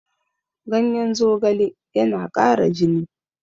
Ganyen zogale yana ƙara jini.